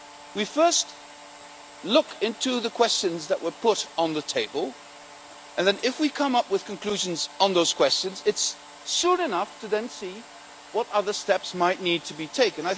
We first look into the questions that were put on the table, and then if we come up with conclusions on those questions it is soon enough to then see what other steps might need to be taken.